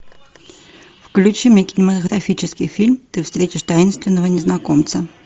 включи мне кинематографический фильм ты встретишь таинственного незнакомца